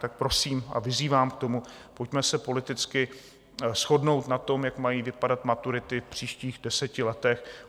Tak prosím a vyzývám k tomu, pojďme se politicky shodnout na tom, jak mají vypadat maturity v příštích deseti letech.